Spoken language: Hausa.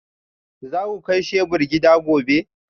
Za ku kai shebur gida gobe?